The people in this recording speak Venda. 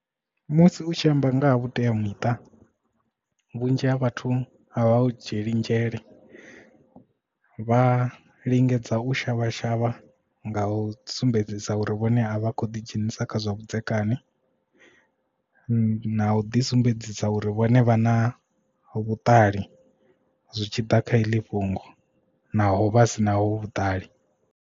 Musi u tshi amba nga ha vhuteamuṱa vhunzhi ha vhathu a vha u dzhieli nzhele vha lingedza u shavha shavha nga u sumbedzisa uri vhone avha kho ḓi dzhenisa kha zwa vhudzekani na u ḓi sumbedzisa uri vhone vha na vhuṱali zwi tshi ḓa kha heḽi fhungo naho vha sinaho vhuṱali.